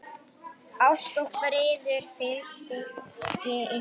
Ást og friður fylgi ykkur.